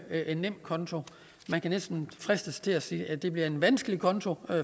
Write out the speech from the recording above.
en nemkonto man kan næsten fristes til at sige at det bliver en vanskelig konto